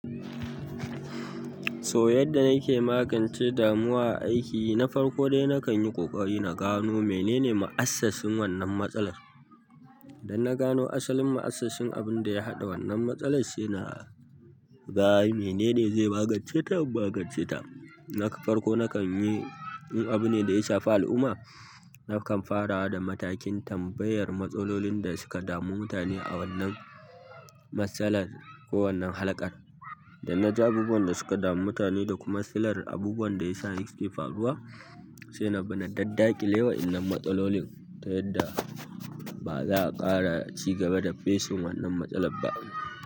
So yadda nike magance damuwa a aiki, na farko dai na kan yi ƙoƙari na gano menene ma'assasin wannan matsalar. Idan na gano asalin ma'assasin abin da ya haɗa wannan matsalar, sai na ga menene zai magance ta, in magance ta. Na farko na kan yi, in abu ne da ya shafi al'umma. Nakan fara da matakin tambayar matsalolin da suka damu mutane a wannan matsalar ko wannan halakar. Idan na ji abubuwan da suka damu mutane da kuma silar abubuwan da ya sa yake faruwa, sai na bi na daddakile wa'innan matsalolin ta yadda ba za a ƙara cigaba da facing wannan matsalar ba.